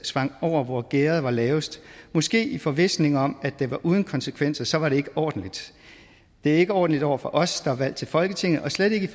sprang over hvor gærdet var lavest måske i forvisning om at det var uden konsekvenser så var det ikke ordentligt det er ikke ordentligt over for os der er valgt til folketinget og slet ikke